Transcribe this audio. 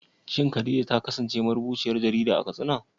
Shin Khadija ta kasance marubuciyar jarida a Katsina?